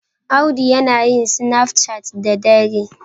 Audu yana yin sinaf cat da dare.